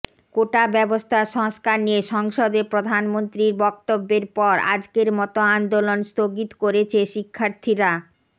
কোটা ব্যবস্থা সংস্কার নিয়ে সংসদে প্রধানমন্ত্রীর বক্তব্যের পর আজকের মতো আন্দোলন স্থগিত করেছে শিক্ষার্থীরা